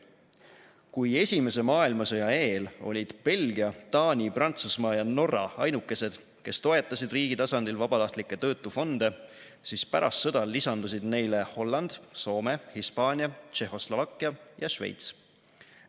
Kui Esimese maailmasõja eel olid Belgia, Taani, Prantsusmaa ja Norra ainukesed, kes toetasid riigi tasandil vabatahtlikke töötufonde, siis pärast sõda lisandusid neile Holland, Soome, Hispaania, Tšehhoslovakkia ja Šveits.